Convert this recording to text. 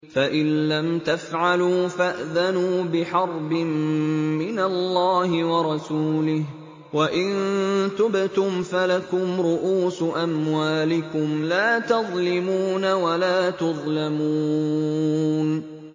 فَإِن لَّمْ تَفْعَلُوا فَأْذَنُوا بِحَرْبٍ مِّنَ اللَّهِ وَرَسُولِهِ ۖ وَإِن تُبْتُمْ فَلَكُمْ رُءُوسُ أَمْوَالِكُمْ لَا تَظْلِمُونَ وَلَا تُظْلَمُونَ